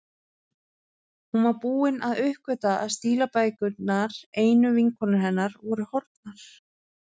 Hún var búin að uppgötva að stílabækurnar, einu vinkonur hennar, voru horfnar.